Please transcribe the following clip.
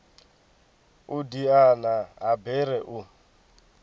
u diana ha bere u